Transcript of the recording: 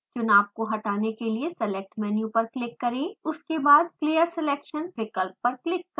चुनाव को हटाने के लिए select मेनू पर क्लिक करें उसके बाद clear selection विकप्ल पर क्लिक करें